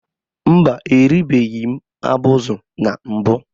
Mba, eribeghị m abụzụ na mbụ